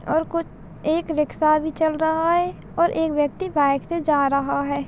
-- और कुछ एक रिक्शा अभी चल रहा है और एक व्यक्ति बाइक से जा रहा है।